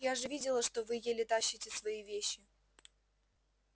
я же видела что вы еле тащите свои вещи